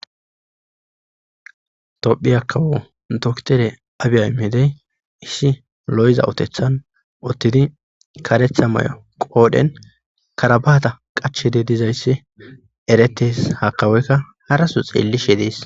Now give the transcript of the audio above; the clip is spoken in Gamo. Tophi akkawo doktere abiya imedey ishi lo7za utethan ottidi karetha may7o qoodhen karabaata qache de dizayssi eretes hakawoykka haraso xeelli she dees.